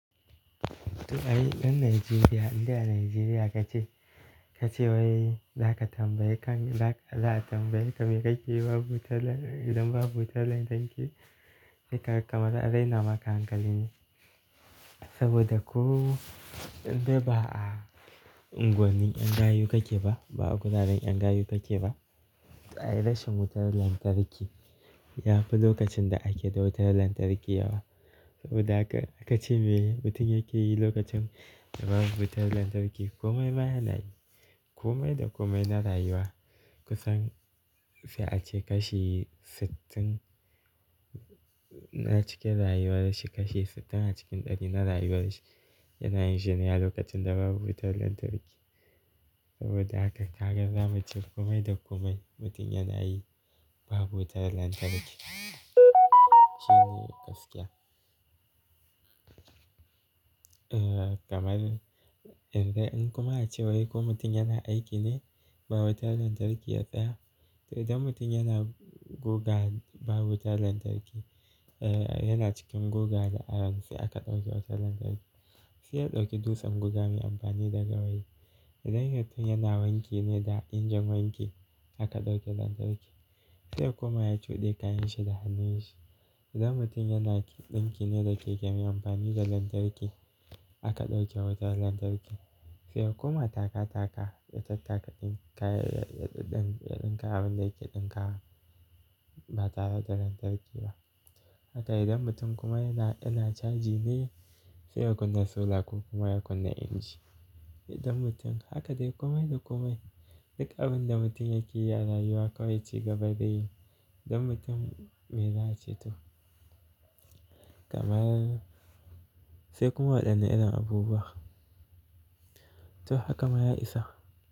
To ai, dan Najeriya, in da a Najeriya ka ke, ka ce wai za ka tambayi kan, za ka, za a tambaye ka me kake yi babu tar, idan babu wutar lantarki. Sai, kaga kamar an raina maka hankali ne. Saboda ko, indai ba a, unguwannin 'yan gayu kake ba, ba a guraren 'yan gayu kake ba, to ai rashin wutar lantarki ya fi lokacin da ake da wutar lantarki yawa. Saboda haka ka ce me mutum yake yi lokacin babu wutar lantarki. Komai ma yana yi. Komai da komai na rayuwa kusan sai a ce kashi sittin na cikin rayuwar shi, kashi sittin a cikin ɗari na rayuwar shi yana yin shine a lokacin da babu wutar lantarki. Saboda haka ka haƙa zamu ci komai da komai mutum yana yi babu wutar lantarki. Shine gaskiya. Eh, kamar, idan kuma a ce wai ko mutum yana aiki ne babu wutar lantarki yatsa, to idan mutum yana guga babu wutar lantarki, eh, yana cikin guga da iron sai aka ɗauke wutar lantarki. Sai ya ɗauki dutsen guga mai amfani da gawayi. Idan mutum yana wanke ne da injin wanki aka ɗauke lantarki. Sai ya kuma ya cuɗe kayan shi da hannun shi. Idan mutum yana ɗinki ne da keken mai amfani da lantarki aka ɗauke wutar lantarki. Sai kuma taka taka ya tattaka ɗin kaya, ya, ya ɗin, ya ɗin ka abin da yake ɗinka ba tare da lantarki ba. Haka idan mutum kuma yana, yana caji ne sai ya kunna solar ko kuma ya kunna inji. Idan mutum, haka dai komai da komai. Duk abin da mutum yake yi a rayuwa kawai ci gaba dai. Idan mutum mai za ace to. Kamar, sai kuma waɗannan irin abubuwa. To haka ma ya isa.